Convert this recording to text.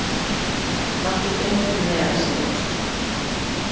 Láttu drenginn vera, segir Ásta.